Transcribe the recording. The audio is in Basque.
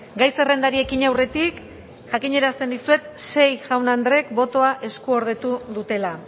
gai zerrendari ekin aurretik jakinarazten dizuet sei jaun andreek botoa eskuordetu dutela